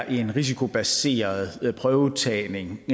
en risikobaseret prøvetagning